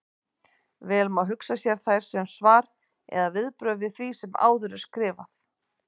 Vel má hugsa sér þær sem svar eða viðbrögð við því sem áður er skrifað.